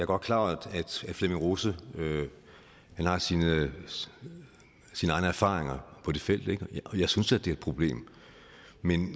godt klar over at flemming rose har sine egne erfaringer på det felt ikke og jeg synes da det er et problem men